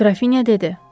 Qrafinya dedi.